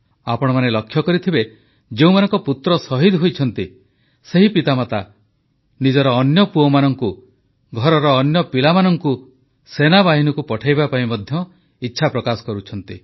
ଆପଣମାନେ ଲକ୍ଷ୍ୟ କରିଥିବେ ଯେଉଁମାନଙ୍କ ପୁତ୍ର ଶହୀଦ ହୋଇଛନ୍ତି ସେହି ପିତାମାତା ନିଜର ଅନ୍ୟ ପୁଅମାନଙ୍କୁ ଘରର ଅନ୍ୟ ପିଲାମାନଙ୍କୁ ମଧ୍ୟ ସେନାବାହିନୀକୁ ପଠାଇବା ପାଇଁ ଇଚ୍ଛାପ୍ରକାଶ କରୁଛନ୍ତି